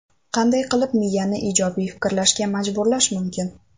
Qanday qilib miyani ijobiy fikrlashga majburlash mumkin?.